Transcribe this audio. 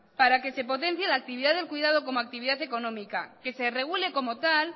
para que se potencie la actividad del cuidado como actividad económica que se regule como tal